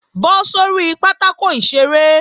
Bọ́ sórí pátákò ìṣeré!